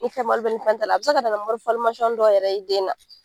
Ni fɛn b'a la wali fɛn ta la, a be se ka na ni dɔw yɛrɛ den na.